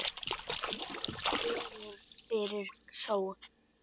Dregur fyrir sólu